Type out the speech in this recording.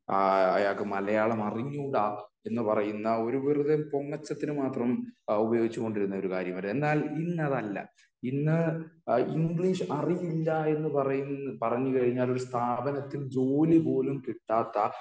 ആഹ് അയാൾക്ക് മലയാളം അറിഞ്ഞുകൂടാ എന്ന് പറയുന്ന ഒരു ഒരു പൊങ്ങച്ചത്തിന് മാത്രം ഉപയോഗിച്ച് കൊണ്ടിരുന്ന ഒരു കാര്യം . എന്നാൽ ഇന്ന് അതല്ല ഇന്ന് ഇംഗ്ലീഷ് അറിയില്ല എന്ന് പറയ് പറഞ്ഞുകഴിഞ്ഞാൽ ഒരു സ്ഥാപനത്തിൽ ജോലി പോലും കിട്ടാത്ത